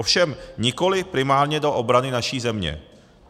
Ovšem nikoliv primárně do obrany naší země.